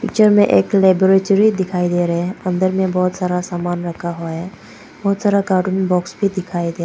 Picture में एक laboratory दिखाई दे रहा है । अंदर में बहोत सारा सामान रखे हुआ हैं । बहुत सारा कार्टून बॉक्स भी दिखाई दे --